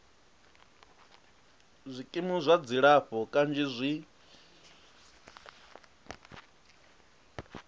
zwikimu zwa dzilafho kanzhi zwi